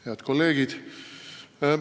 Head kolleegid!